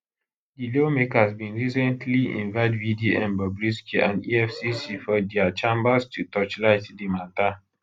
di lawmakers bin recently invite vdm bobrisky and efcc for for dia chambers to torchlight di mata